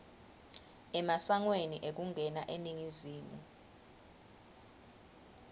emasangweni ekungena eningizimu